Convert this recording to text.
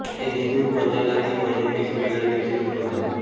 हे हिंदू पंचांगांतील महिन्यांपेक्षा वेगळ्या दिवशी सुरू होतात